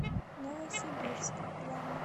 новосибирск главный